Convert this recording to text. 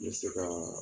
N bɛ se ka